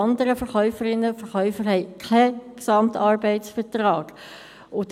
alle anderen Verkäuferinnen und Verkäufer haben keinen GAV.